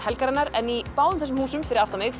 en í báðum þessum húsum fyrir aftan mig